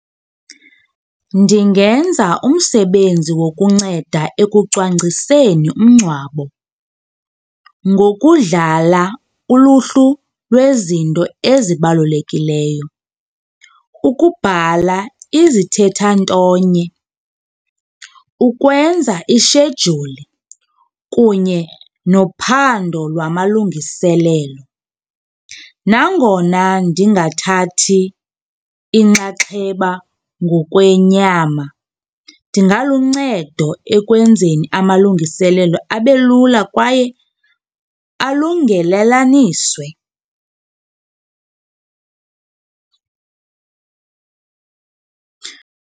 Ndingenza umsebenzi wokunceda ekucwangciseni umngcwabo ngokudlala uluhlu lwezinto ezibalulekileyo. Ukubhala isizithethantonye, ukwenza ishedyuli kunye nophando lwamalungiselelo. Nangona ndingathathi inkxaxheba ngokwenyama ndingaluncedo ekwenzeni amalungiselelo abe lula kwaye alungelelaniswe.